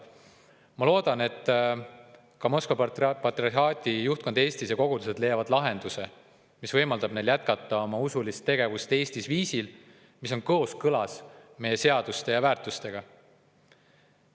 Ma loodan, et Moskva patriarhaadile juhtkond Eestis ja kogudused leiavad lahenduse, mis võimaldab neil jätkata usulist tegevust Eestis viisil, mis on kooskõlas meie seaduste ja väärtustega.